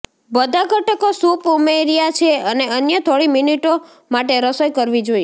બધા ઘટકો સૂપ ઉમેર્યાં છે અને અન્ય થોડી મિનિટો માટે રસોઇ કરવી જોઈએ